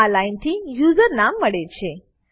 તો આ લાઈનથી યુઝરનામ મળે છે